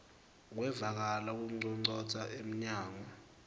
kwevakala kunconcotsa emnyango